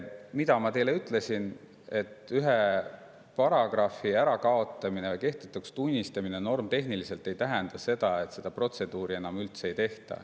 Ma ütlesin teile seda, et ühe paragrahvi normitehniliselt kehtetuks tunnistamine ei tähenda seda, et seda protseduuri enam üldse ei tehta.